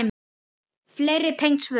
Fleiri tengd svör